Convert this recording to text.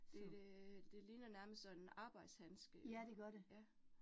Det det det ligner nærmest sådan arbejdshandske, ja